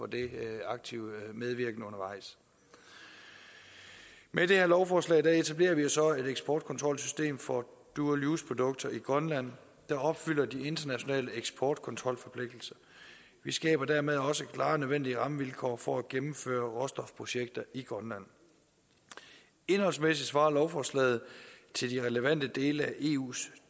den aktive medvirken undervejs med det her lovforslag etablerer vi jo så et eksportkontrolsystem for dual use produkter i grønland der opfylder de internationale eksportkontrolforpligtelser og vi skaber dermed også klare og nødvendige rammevilkår for at gennemføre råstofprojekter i grønland indholdsmæssigt svarer lovforslaget til de relevante dele af eus